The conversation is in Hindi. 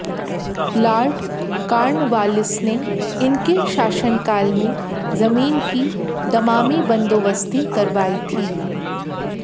लार्ड कार्नवालिस ने इनके शासनकाल में जमीन की दमामी बन्दोबस्ती करवायी थी